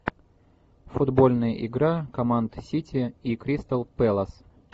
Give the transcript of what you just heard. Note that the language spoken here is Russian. футбольная игра команд сити и кристал пэлас